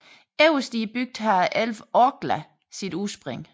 Øverst i bygden har elven Orkla sit udspring